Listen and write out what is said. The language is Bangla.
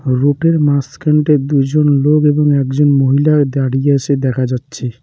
রোটের মাঝখানটায় দুইজন লোক এবং একজন মহিলা দাঁড়িয়ে আছে দেখা যাচ্ছে।